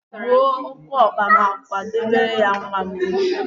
Gbuo ókéọkpa ma kwadebere ya nwa m nwoke.